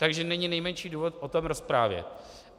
Takže není nejmenší důvod o tom rozprávět.